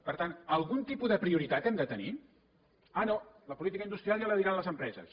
per tant algun tipus de prioritat hem de tenir ah no la política industrial ja la diran les empreses